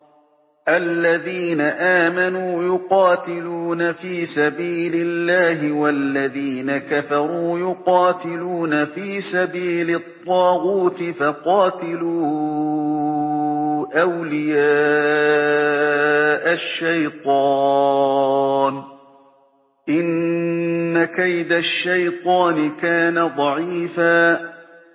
الَّذِينَ آمَنُوا يُقَاتِلُونَ فِي سَبِيلِ اللَّهِ ۖ وَالَّذِينَ كَفَرُوا يُقَاتِلُونَ فِي سَبِيلِ الطَّاغُوتِ فَقَاتِلُوا أَوْلِيَاءَ الشَّيْطَانِ ۖ إِنَّ كَيْدَ الشَّيْطَانِ كَانَ ضَعِيفًا